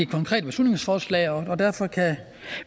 konkrete beslutningsforslag og derfor kan